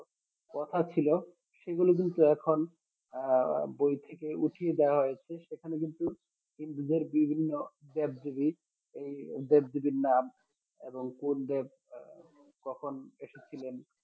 কথা ছিল সেগুলো কিন্তু এখন আহ বই থেকে উঠিয়ে দেওয়া হয়েছে সেখানে কিন্তু হিন্দুদের বিভিন্ন দেবদেবী এই দেবদেবীর নাম এবং কোন দেব কখন এসেছিলেন